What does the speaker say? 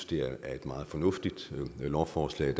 det er et meget fornuftigt lovforslag